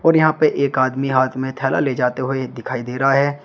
और यहां पर एक आदमी हाथ में थैला ले जाते हुए दिखाई दे रहा है।